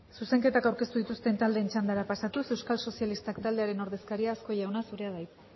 zuzenketak aurkeztu dituzten taldeen txandara pasatuz euskal sozialistak taldearen ordezkaria azkue jauna zurea da hitza